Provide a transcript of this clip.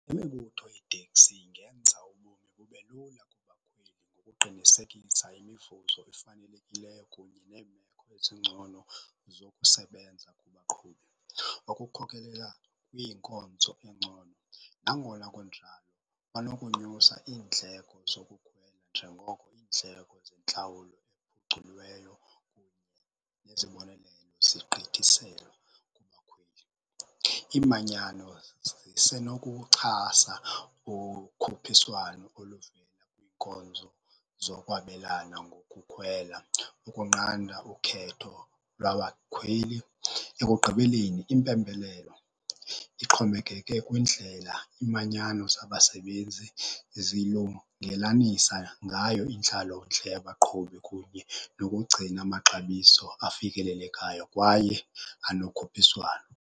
Imibutho yeeteksi ingenza ubomi bube lula kubakhweli ngokuqinisekisa imivuzo efanelekileyo kunye neemeko ezingcono zokusebenza kubaqhubi okukhokelela kwiinkonzo ezingcono. Nangona kunjalo banokunyusa iindleko zokukhwela njengoko iindleko zentlawulo ephuculiweyo kunye nezibonelelo zigqithiselwe kubakhweli. Imanyano zisenokuwuxhasa ukhuphiswano oluvela kwinkonzo zokwabelana ngokukhwela, ukunqanda ukhetho lwabakhweli. Ekugqibeleni, impembelelo ixhomekeke kwindlela imanyano zabasebenzi zilungelanisa ngayo intlalontle yabaqhubi kunye nokugcina amaxabiso afikelelekayo kwaye anokhuphiswano.